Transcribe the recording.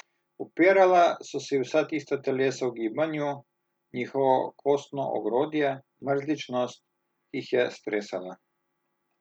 Upirala so se ji vsa tista telesa v gibanju, njihovo kostno ogrodje, mrzličnost, ki jih je stresala.